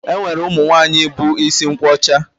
E nwere ụmụ nwaanyị bu isi nkwọcha